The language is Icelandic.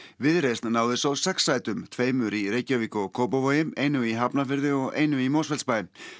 viðreisn náði svo sex sætum tveimur í Reykjavík og Kópavogi einu í Hafnarfirði og einu í Mosfellsbæ